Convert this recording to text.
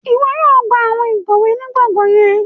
Iwọ yóò gba awọn ikọwe ni gbọngan yẹn